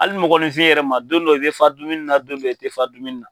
Hali mɔgɔninfin yɛrɛ ma don dɔ e bɛ fa dumuni na don dɔ e tɛ fa dumuni na.